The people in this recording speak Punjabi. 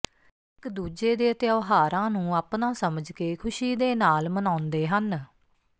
ਇਕ ਦੂਜੇ ਦੇ ਤਿਉਹਾਰਾਂ ਨੂੰ ਆਪਣਾ ਸਮਝ ਕੇ ਖੁਸ਼ੀ ਦੇ ਨਾਲ ਮਨਾਉਂਦੇ ਹਨ